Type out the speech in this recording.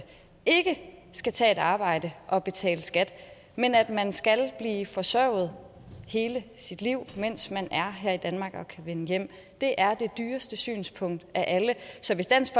ikke skal tage et arbejde og betale skat men at man skal blive forsørget hele sit liv mens man er her i danmark inden man kan vende hjem det er det dyreste synspunkt af alle så hvis dansk